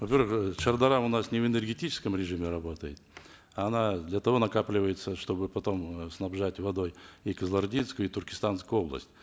во первых э шардара у нас не в энергетическом режиме работает она для того накапливается чтобы потом э снабжать водой и кызылординскую и туркестанскую область